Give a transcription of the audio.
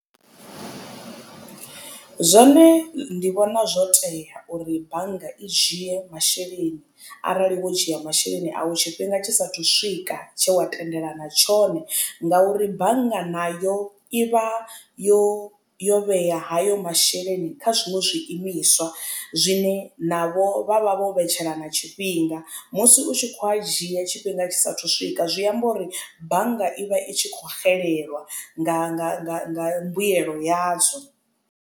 Zwone ndi vhona zwo tea uri bannga i dzhie masheleni arali wo dzhia masheleni au tshifhinga tshisa thu swika tshe wa tendelana tshone ngauri bannga na yo i vha yo yo vhea hayo masheleni kha zwiṅwe zwi imiswa zwine navho vha vha vho vhetshelana tshifhinga musi u tshi kho a dzhia tshifhinga tshisa thu swika zwi amba uri bannga i vha i tshi khou xelelwa nga nga nga nga mbuyelo ya dzo.